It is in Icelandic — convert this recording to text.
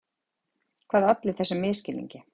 Hvað olli þessum misskilningi?